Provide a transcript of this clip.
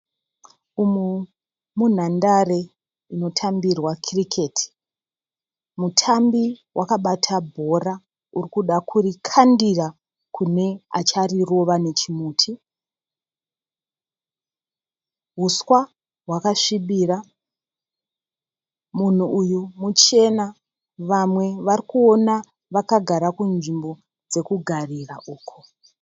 Umu munhandare inotambirwa kiriketi. Mutambi wakabata bhora urikuda kurikandira kune acharirova nechimuti. Huswa hwakasvibira, munhu uyu muchena, vamwe vari kuona vakagara kunzvimbo dzekugarira uko.